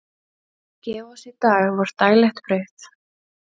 Gef oss í dag vort daglegt brauð.